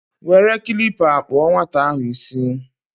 were kilipa kpuo nwata ahu isi